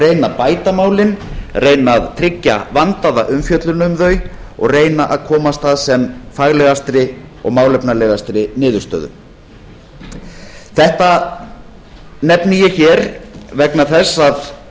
reyna að bæta málin reyna að tryggja vandaða umfjöllun um þau og komast að sem faglegastri og málefnalegastri niðurstöðu þetta nefni ég hér vegna þess